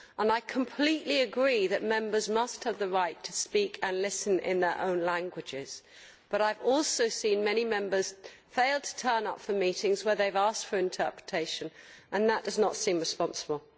I completely agree that Members must have the right to speak and listen in their own languages but I have also seen many Members fail to turn up for meetings where they have asked for interpretation, and that does not seem responsible.